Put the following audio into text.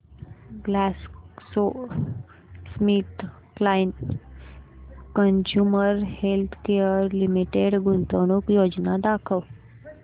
GlaxoSmithKline consumer healthcare limited गुंतवणूक योजना दाखव